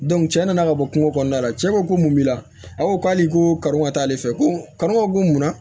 cɛ nana ka bɔ kungo kɔnɔna la cɛ ko mun b'i la a ko k'ale ko kar'o ka taa'ale fɛ ko karo ko munna